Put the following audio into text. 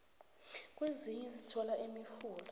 ukwezinye sithola imifula